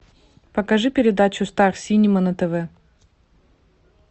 покажи передачу стар синема на тв